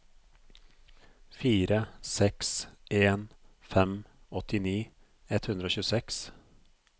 fire seks en fem åttini ett hundre og tjueseks